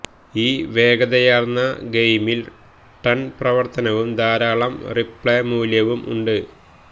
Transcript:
ഈ വേഗതയാർന്ന ഗെയിമിൽ ടൺ പ്രവർത്തനവും ധാരാളം റീപ്ലേ മൂല്യവും ഉണ്ട്